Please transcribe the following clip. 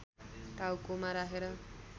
टाउकोमा राखेर